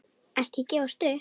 Ekki gefast upp.